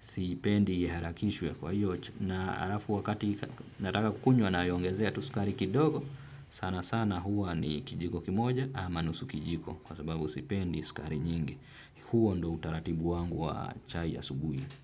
Sipendi iharakishwe kwa hiyo na halafu wakati nataka kukunywa naiaongezea tu sukari kidogo. Sana sana huwa ni kijiko kimoja ama nusu kijiko. Kwa sababu sipendi sukari nyingi. Huo ndio utaratibu wangu wa chai ya asubuhi.